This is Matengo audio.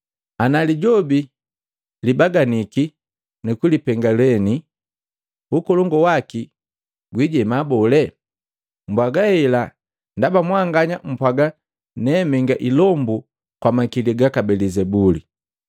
Ana Lijobi gogubaganiki nukulipenga lyeni, ukolongu waki gwijema bole? Mbwaga hela ndaba mwanganya mpwaga ne menga ilombu kwa makili gaka Belizebuli.